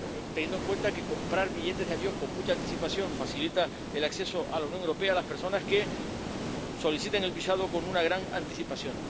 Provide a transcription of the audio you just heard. teniendo en cuenta que comprar billetes de avión con mucha anticipación facilita el acceso a la Unión Europea a las personas que soliciten el visado con una gran anticipación.